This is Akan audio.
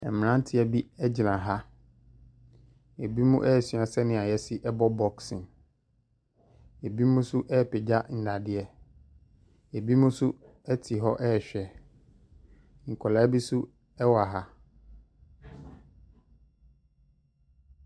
Ɛmmeranteɛ bi ɛgyina ha, ebimo ɛɛsua sɛnea yɛsi ɛbɔ bɔksen, ebimo so ɛɛpagya nnadeɛ, ebimo so ɛte hɔ ɛɛhwɛ, nkɔlaa bi so ɛwɔ ha.